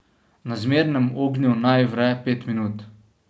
Na zmernem ognju naj vre pet minut.